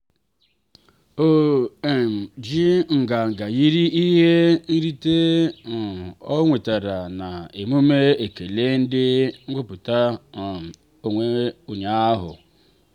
o um ji nganga yiri ihe nrite um ọ nwetara na emume ekele ndi nweputa um onnwe ụnyaahụ.